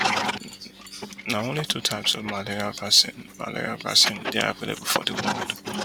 na only two types of malaria vaccine malaria vaccine dey available for di world